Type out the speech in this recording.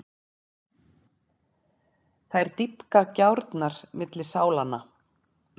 Þær dýpka gjárnar milli sálanna.